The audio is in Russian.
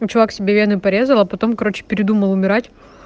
ну чувак себе вены порезала а потом короче передумал умирать